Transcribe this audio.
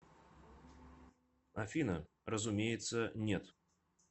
афина разумеется нет